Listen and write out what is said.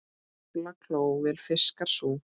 Aflakló vel fiskar sú.